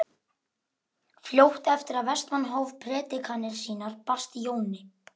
Fljótt eftir að Vestmann hóf predikanir sínar barst Jóni